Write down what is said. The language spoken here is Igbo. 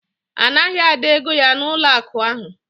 A naghị Ada ego ya n'ụlọakụ ahụ